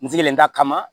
N sigilen ta kama